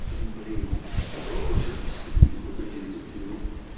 блин кто хочет сходить в магазин за пивом